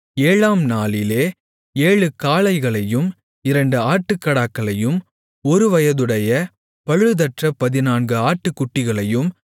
ஏழாம் நாளிலே ஏழு காளைகளையும் இரண்டு ஆட்டுக்கடாக்களையும் ஒருவயதுடைய பழுதற்ற பதினான்கு ஆட்டுக்குட்டிகளையும்